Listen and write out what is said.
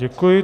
Děkuji.